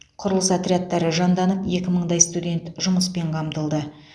құрылыс отрядтары жанданып екі мыңдай студент жұмыспен қамтылды